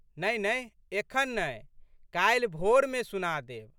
नहिनहि एखन नहि। काल्हि भोरमे सुना देब।